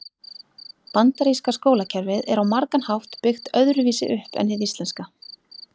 Bandaríska skólakerfið er á margan hátt byggt öðru vísu upp en hið íslenska.